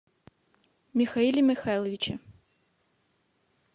михаиле михайловиче